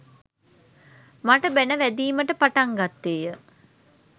මට බැණ වැදීමට පටන් ගත්තේය.